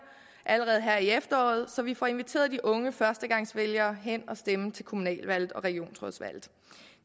allerede her i efteråret så vi får inviteret de unge førstegangsvælgere hen at stemme til kommunalvalget og regionsrådsvalget